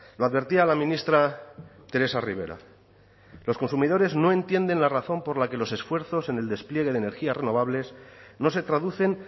lo advertía la ministra teresa ribera los consumidores no entienden la razón por la que los esfuerzos en el despliegue de energías renovables no se traducen